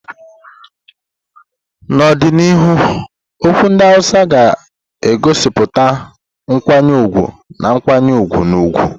N'ọdịnihu, okwu ndị Hausa ga-egosipụta nkwanye ùgwù na nkwanye ùgwù na ugwu.